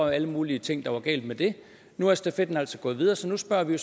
alle mulige ting der er galt med det nu er stafetten altså gået videre så nu spørger vi